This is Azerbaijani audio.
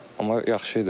Amma yaxşı idi.